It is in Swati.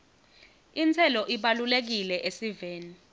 intselo ibalulekile esiveni